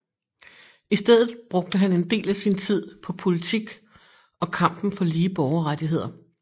I stedet brugte han en del af sin tid på politik og kampen for lige borgerrettigheder